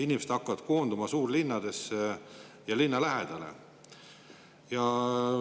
Inimesed hakkavad koonduma suurlinnadesse ja linna lähedale.